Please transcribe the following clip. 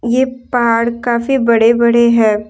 ये पहाड़ काफी बड़े बड़े है।